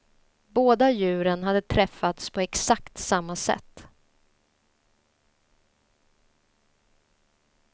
Båda djuren hade träffats på exakt samma sätt.